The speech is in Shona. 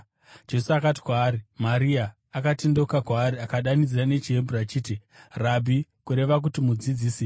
Jesu akati kwaari, “Maria.” Akatendeukira kwaari akadanidzira nechiHebheru achiti, “Rabhi!” (kureva kuti Mudzidzisi).